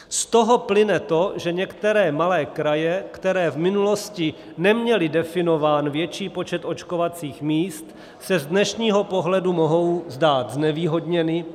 Z toho plyne to, že některé malé kraje, které v minulosti neměly definován větší počet očkovacích míst, se z dnešního pohledu mohou zdát znevýhodněny.